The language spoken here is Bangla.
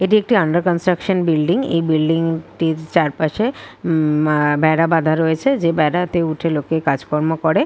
এটি একটি আন্ডার কনস্ট্রিকশন বিল্ডিং এই ব্লিডিং টি চার পাসে উম আ বেড়া বাধা রয়েছে যে বেড়াতে উঠে লোকে কাজ কর্ম করে।